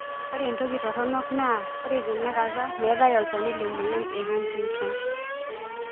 Ore entoki torono naa ore tenakata metae olchani le moyian e Huntington.